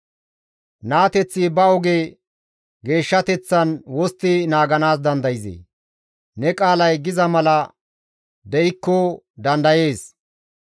Naateththi ba oge geeshshateththan wostti naaganaas dandayzee? Ne qaalay giza mala de7ikko dandayees.